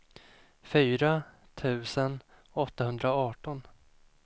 fyra tusen åttahundraarton